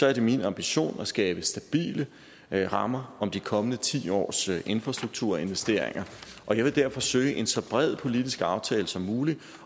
er det min ambition at skabe stabile rammer om de kommende ti års infrastrukturinvesteringer og jeg vil derfor søge en så bred politisk aftale som muligt